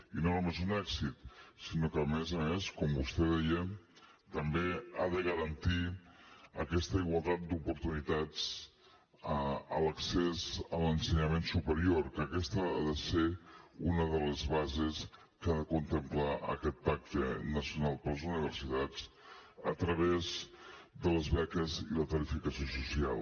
i no només un èxit sinó que a més a més com vostè deia també ha de garantir aquesta igualtat d’oportunitats a l’accés a l’ensenyament superior que aquesta ha de ser una de les bases que ha de contemplar aquest pacte nacional per a les universitats a través de les beques i la tarificació social